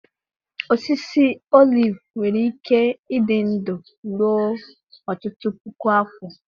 Osisi olive nwere ike ịdị ndụ ruo ọtụtụ puku afọ.